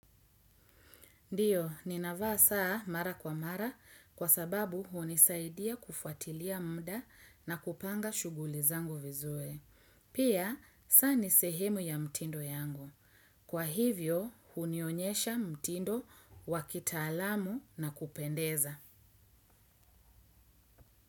Ndiyo, nina vaa saa mara kwa mara kwa sababu hunisaidia kufuatilia muda na kupanga shughuli zangu vizuri. Pia, saa nisehemu ya mtindo yangu. Kwa hivyo, hunionyesha mtindo wakitaalamu na kupendeza.